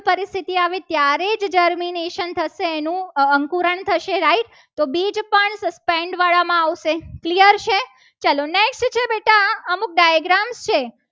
પરિસ્થિતિ આવે ત્યારે જ dermination થશે. એનું અંકુરણ થશે right તો બીજ પણ suspend વાળા માં આવશે clear છે. ચલો next છે. બેટા અમુક diagram છે.